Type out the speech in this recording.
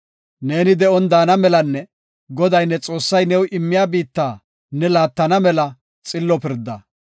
Ne de7on daana malanne Goday ne Xoossay new immiya biitta ne laattana mela xillo pirda.